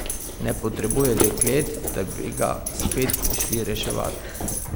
Ne potrebuje deklet, da bi ga spet prišli reševat.